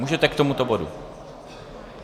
Můžete k tomuto bodu.